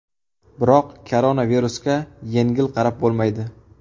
Biroq koronavirusga yengil qarab bo‘lmaydi.